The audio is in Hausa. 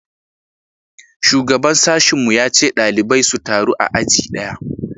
shugaban sashin mu ya ce ɗalibai su taru a aji daya